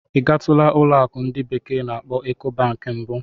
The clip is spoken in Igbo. Ị gatula ụlọ akụ ndi bekee na-akpo Ecobanki mbụ?